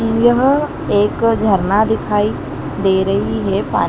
यह एक झरना दिखाई दे रही है पा--